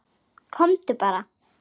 Komdu bara.